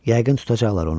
Yəqin tutacaqlar onu.